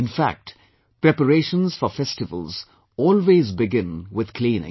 In fact, preparations for festivals always begin with cleaning